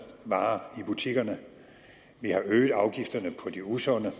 varer i butikkerne vi har øget afgifterne på de usunde